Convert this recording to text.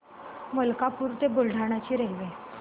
मलकापूर ते बुलढाणा ची रेल्वे